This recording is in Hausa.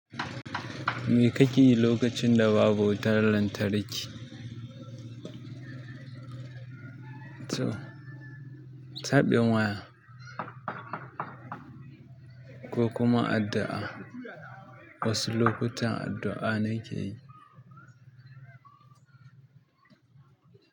Me kake yi lokacin da babu wutar lantarki? Sabin waya ko kuma addu'a? Wasu lokutan addu'a ne ke yi.